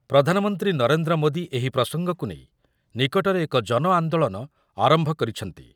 ପ୍ରଧାନମନ୍ତ୍ରୀ ନରେନ୍ଦ୍ର ମୋଦି ଏହି ପ୍ରସଙ୍ଗକୁ ନେଇ ନିକଟରେ ଏକ ଜନ ଆନ୍ଦୋଳନ ଆରମ୍ଭ କରିଛନ୍ତି ।